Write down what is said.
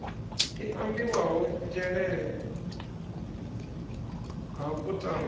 i ambiwaho nzhelele ha kutama